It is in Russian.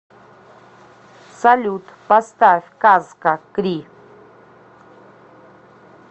салют поставь казка кри